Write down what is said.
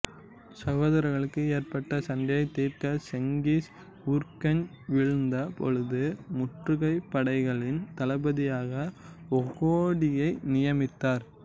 சகோதரர்களுக்குள் ஏற்பட்ட சண்டையை தீர்க்க செங்கிஸ் ஊர்கெஞ்ச் வீழ்ந்த பொழுது முற்றுகை படைகளின் தளபதியாக ஒகோடியை நியமித்தார்